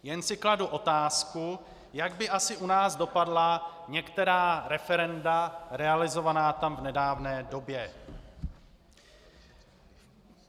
Jen si kladu otázku, jak by asi u nás dopadla některá referenda realizovaná tam v nedávné době.